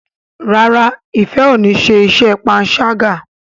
ràrá Ifẹ ọ ní ṣe iṣé panṣaga.